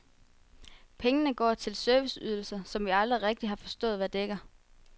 Pengene går til serviceydelser, som vi aldrig rigtigt har forstået, hvad dækker.